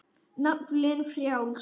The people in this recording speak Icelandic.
Naflinn frjáls.